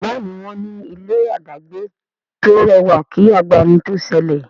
Béèni wón ní ilé adagbe to rẹwà kí agbami to sẹlẹ.